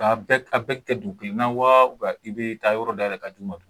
K'a bɛɛ a bɛɛ kɛ dugu kelen na wa i bɛ taa yɔrɔ dayɛlɛ ka d'u ma.